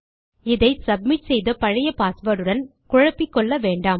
இதை சப்மிட் செய்த பழைய பாஸ்வேர்ட் உடன் குழப்பிக்கொள்ள வேண்டாம்